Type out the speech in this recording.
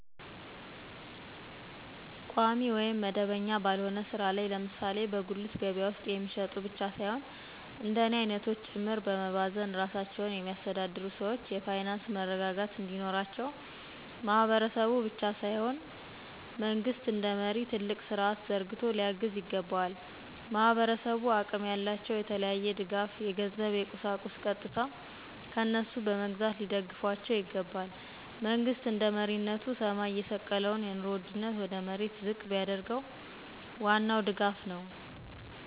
ቋሚ ወይም መደበኛ ባልሆነ ሥራ ላይ ለምሳሌ በጉልት ገበያ ውስጥ የሚሸጡ ብቻ ሳይሆን እንደኔ አይነቶች ጭምር በመባዘን ራሳቸውን የሚያስተዳድሩ ሰዎች የፋይናንስ መረረጋጋት እንዲኖራቸው ማህበረሰቡ ብቻ ሳይሆን መንግስት እንደመሪ ትልቅ ስርዐት ዘርግቶ ሊያግዝ ይገባዋል። ማህበረሰቡ አቅም ያላቸው የተለያየ ድጋፍ የገንዘብ የቁሳቁስ ቀጥታ ከነሱ በመግዛት ሊደግፏቸው ይገባል። መንግሥት እንደመሪነቱ ሰማይ የተሰቀለውን የኑሮ ውድነት ወደ መሬት ዝቅ ቢያደርገው ዋናው ድጋፍ ነው።